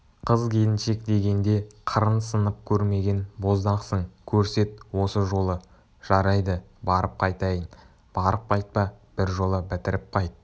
қыз-келіншек дегенде қырың сынып көрмеген боздақсың көрсет осы жолы жарайды барып қайтайын барып қайтпа біржола бітіріп қайт